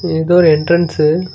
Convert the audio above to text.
இது வந்து ஒரு என்ட்ரன்ஸ்ஸு .